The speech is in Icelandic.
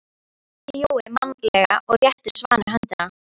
spurði Jói mannalega og rétti Svani höndina.